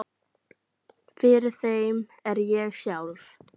Fyrir þeim er ég sjálf